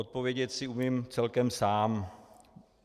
Odpovědět si umím celkem sám.